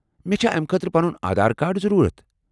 مےٚ چھا امہ خٲطرٕ پنُن آدھار کارڈ ضروٗرت؟